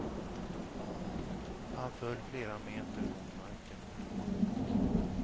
Han föll flera meter mot marken.